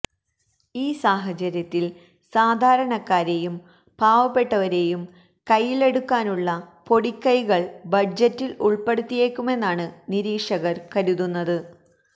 ഈ സാഹചര്യത്തില് സാധാരണക്കാരെയും പാവപ്പെട്ടവരെയും ൈകയിലെടുക്കാനുള്ള പൊടിക്കൈകള് ബജറ്റില് ഉള്പ്പെടുത്തിയേക്കുമെന്നാണ് നിരീക്ഷകര് കരുതുന്നത്